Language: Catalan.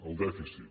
el dèficit